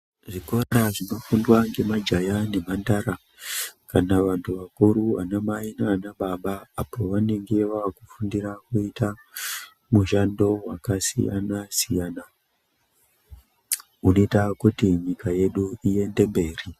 Zvikora zvinofundwa ngemajaya nemhandara kana vanthu vakuru ana mai nana baba apo pavanenge vaakufundira mishando wakasiyana siyana inoita kuti nyika yedu iende mberi .